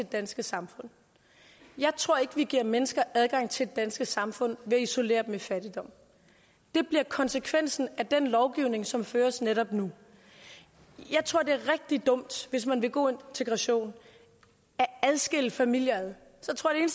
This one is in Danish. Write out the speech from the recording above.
danske samfund jeg tror ikke vi giver mennesker adgang til det danske samfund ved at isolere dem i fattigdom det bliver konsekvensen af den lovgivning som indføres netop nu jeg tror det er rigtig dumt hvis man vil god integration at adskille familier for så tror jeg